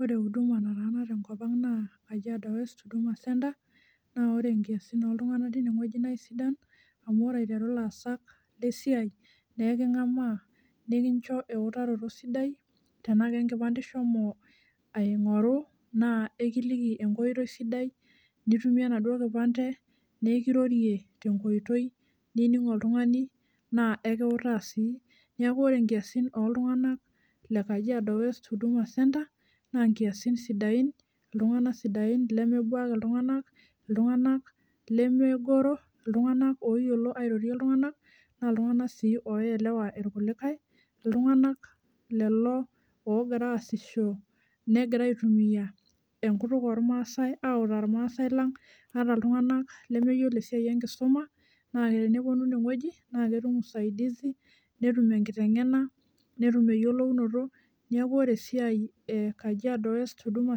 Ore huduma natii enkop ang na kajiado West huduma centre na ore enkiasi loltunganak na kesidai amu ore nkiasin esiai na ekingamaa nikikcho eutaroto sidai anaa enkipande ishomo aingoru na ekiliki enkoitoi sidai nitumie enaduo nikirorie tenkoitoi nining oltungani na ekiutaa si neaku ore nkiasin oltunganak lebkajiado west na ltunganak sidain lemebuaki ltunganak ltunganak loyioro airorie ltunganak na ltunganak oyiolo airorie ltunganak ltunganak lolo ogira aasisho logira autaa irmaasai lang lemeyiolonesiai enkisuma teneponu inewueji netum eyiolounoto neaku ore esaia e kajiado west huduma